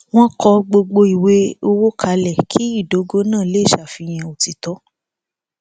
wọn kọ gbogbo ìwé owó kalẹ kí ìdógò náà lè ṣàfihàn òtítọ